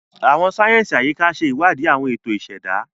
Àwọn sáyẹnsì Ayika ṣe iwadi awọn eto iseda.